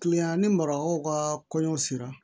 Kilen an ni marakaw ka kɔɲɔ sera